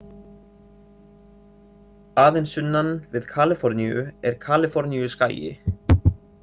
Aðeins sunnan við Kaliforníu er Kaliforníuskagi.